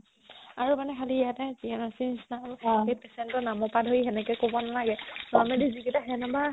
আৰু মানে খালি ইয়াতে GNRC ৰ নিচিনা আৰু সেই patient ৰ নাম সোপা ধৰি সেনেকে ক'ব নালাগে normally যিকেইটা সেনেবা